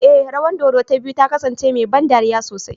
Ee, rawan dodo ta biyu ta kasance mai ban dariya sosai